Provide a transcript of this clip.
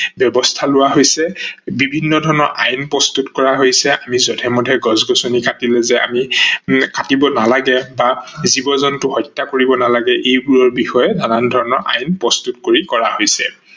একেদৰে গছৰ ডালত চৰাইয়ে বাহ লয় ইত্যাদি নানান উদাহৰন তোমালোকে পাবা ।এতিয়া সেই বনজ সম্পদ বুলি কলে যদিও আমি উদ্ভিদৰ কথা কও, ঘাহনি অঞ্চলৰ কথা কও এইবোৰতে কিন্তু শেষ হৈ নাযায়।